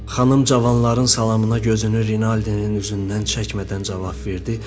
Xanım cavanların salamına gözünü Rinaldinin üzündən çəkmədən cavab verdi.